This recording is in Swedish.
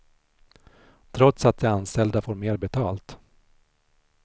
Trots att de anställda får mer betalt.